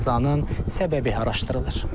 Qəzanın səbəbi araşdırılır.